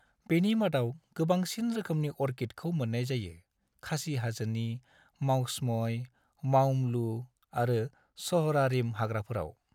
बिनि मादाव गोबांसिन रोखोमनि अर्किडखौ मोननाय जायो, खासी हाजोनि मावसमई, मावमलुह आरो स'हरारिम हाग्राफोराव।